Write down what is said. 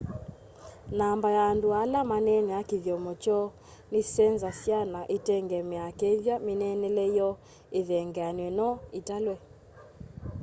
namba ya andu ala maneenaa kithyomo kyoo nisenzasya na itengemeaa kethwa mineenele yoo ithengeanie no italwe